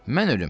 Mən ölüm.